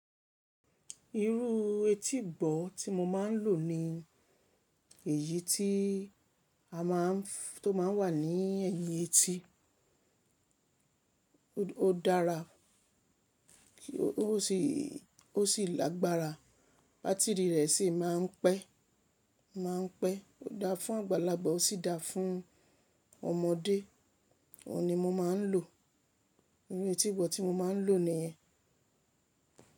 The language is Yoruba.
Irú etí ìgbọ̀ tí mo máa ń lò ni èyí tí a máa ń, tó máa ń wà ní ẹ̀yìn etí. Ó dára, ó sì lágbára, bátírì rẹ̀ sì máa ń pẹ́, máa ń pẹ́. Ó dáa fún àgbàlagbà, ó sì dáa fún ọmọdé. Ó ní mo máa ń lò. Irú etí ìbọ̀ tí mo máa ń lò nìyẹn.